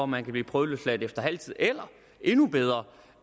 man kan blive prøveløsladt efter halv tid eller endnu bedre